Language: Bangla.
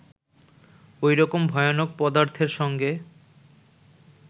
ঐরকম ভয়ানক পদার্থের সঙ্গে